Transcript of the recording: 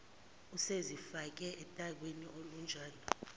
usezifake otakwini olunjani